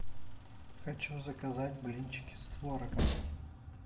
хочу заказать блинчики с творогом